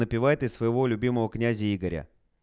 допивай ты своего любимого князя игоря